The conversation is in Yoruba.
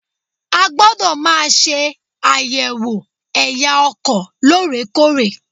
A gbọ́dọ̀ máa ṣe àyẹ̀wò ẹ̀ya ọkọ̀ lórèkórè.